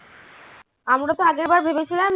আমরা তো আগেরবার ভেবেছিলাম।